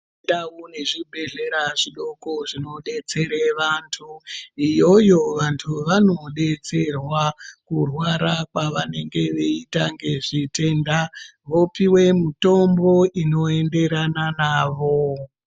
Ndau nezvibhedhlera zvidoko zvinobetsera vantu, iyoyo vantu vanobetserwa kurwara kwwavanenge veiita ngezvitenda. Vopiwe mutombo inoenderana navo.